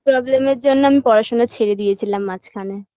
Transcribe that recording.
problem -এর জন্য আমি পড়াশোনা ছেড়ে দিয়েছিলাম মাঝখানে